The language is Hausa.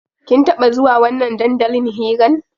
Kin taɓa zuwa wannan dandalin hiran?